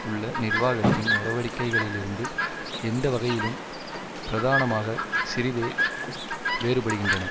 உள்ள நிர்வாகத்தின் நடவடிக்கைகளிலிருந்து எந்த வகையிலும் பிரதானமாக சிறிதே வேறுபடுகின்றன